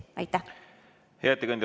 Hea ettekandja, tänan!